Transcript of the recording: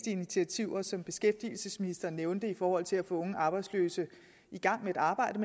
initiativer som beskæftigelsesministeren nævnte i forhold til at få unge arbejdsløse i gang med et arbejde